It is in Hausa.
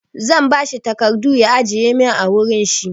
Zan ba shi takardu ya ajiye min a wurin shi.